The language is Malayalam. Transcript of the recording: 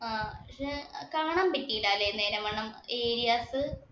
ആഹ് പക്ഷേ, കാണാൻ പറ്റിയില്ല നേരെ വണ്ണം areas.